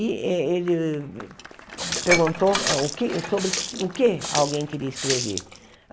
E eh ele perguntou o que sobre o que alguém queria escrever.